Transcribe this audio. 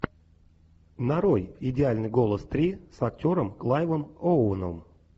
нарой идеальный голос три с актером клайвом оуэном